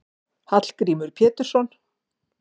Hallgrímur Pétursson.